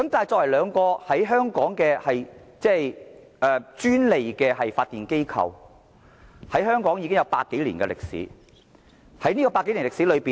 作為在香港享有專利發電權的機構，兩間電力公司在香港已有百多年歷史。